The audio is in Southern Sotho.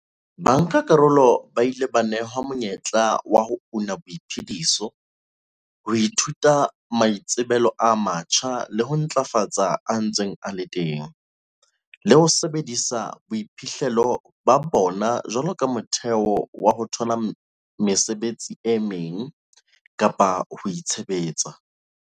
Bankakarolo ba ile ba nehwa monyetla wa ho una boiphediso, ho ithuta maitsebelo a matjha le ho ntlafatsa a ntseng a le teng, le ho sebedisa boiphihlelo ba bona jwaloka motheo wa ho thola mesebetsi e meng kapa ho itshebetsa.